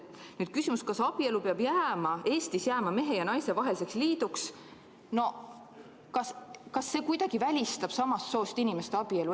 Kas küsimus, kas abielu peab jääma Eestis mehe ja naise vaheliseks liiduks, kuidagi välistab samast soost inimeste abielu?